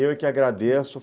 Eu que agradeço.